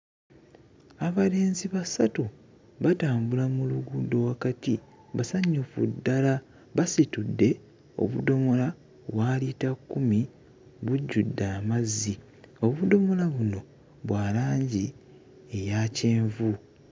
Abalenzi basatu batambula mu luguudo wakati basanyufu ddala basitudde obudomola wa liita kkumi bujjudde amazzi obudomola buno bwa langi eya kyenvu.